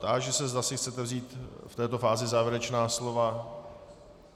Táži se, zda si chcete vzít v této fázi závěrečná slova.